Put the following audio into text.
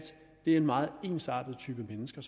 en meget ensartet type mennesker